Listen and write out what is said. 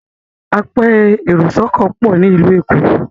apẹ èrò sóko pọ ní ilu ẹkọ